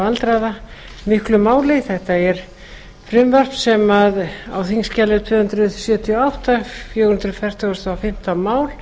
aldraða miklu máli þetta frumvarp er á þingskjali tvö hundruð sjötíu og átta fjögur hundruð fimmtugasta og fimmta mál